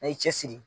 A ye cɛsiri